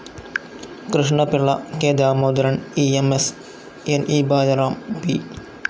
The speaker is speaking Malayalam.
Krishnapillai, K Damodaran, E M S, ന്‌ ഇ ബാലറാം, പി.